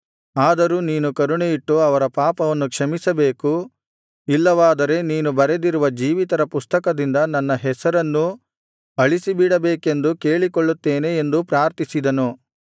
ಆದರೂ ನೀನು ಕರುಣೆಯಿಟ್ಟು ಅವರ ಪಾಪವನ್ನು ಕ್ಷಮಿಸಬೇಕು ಇಲ್ಲವಾದರೆ ನೀನು ಬರೆದಿರುವ ಜೀವಿತರ ಪುಸ್ತಕದಿಂದ ನನ್ನ ಹೆಸರನ್ನೂ ಅಳಿಸಿಬಿಡಬೇಕೆಂದು ಕೇಳಿಕೊಳ್ಳುತ್ತೇನೆ ಎಂದು ಪ್ರಾರ್ಥಿಸಿದನು